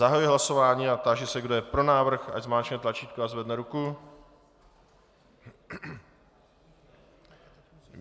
Zahajuji hlasování a táži se, kdo je pro návrh, ať zmáčkne tlačítko a zvedne ruku.